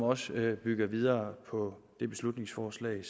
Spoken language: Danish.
også bygger videre på det beslutningsforslag